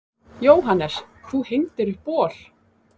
Jóhannes: Þú hengdir upp bol?